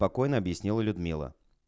спокойно объяснила людмила